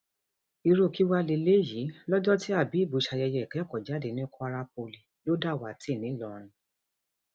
irú kí wàá lélẹyìí lọjọ tí habab ṣayẹyẹ ìkẹkọọjáde ní kwara poli ló dàwátì ńlọrọn